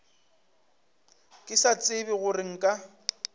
ke sa tsebe gore nka